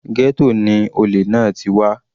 Ghetto ni olè náà ti wá.